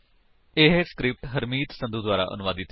ਇਹ ਸਕਰਿਪਟ ਹਰਮੀਤ ਸੰਧੂ ਦੁਆਰਾ ਅਨੁਵਾਦਿਤ ਹੈ